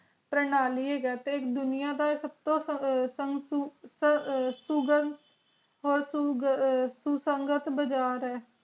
ਪਰਣਾਲੀ ਹੈਗਾ ਤੇ ਦੁਨੀਆ ਦਾ ਸਬ ਤੂੰ ਸੁਗਮ ਹੋਰ ਸੁਗ ਸੁਸੰਗਤ ਬਾਜ਼ਾਰ